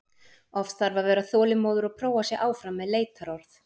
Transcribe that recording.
Oft þarf að vera þolinmóður og prófa sig áfram með leitarorð.